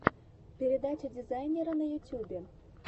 передача дизайнера на ютюбе